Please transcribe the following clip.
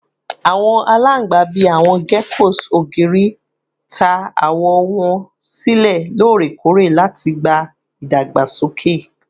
Awọn alangba, bii awọn geckos ogiri, ta awọ wọn silẹ lorekore lati gba idagbasoke